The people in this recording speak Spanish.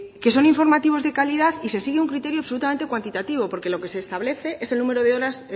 que son informativos de calidad y se sigue un criterio absolutamente cuantitativo porque lo que se establece es el número de horas